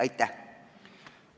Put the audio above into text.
Aitäh!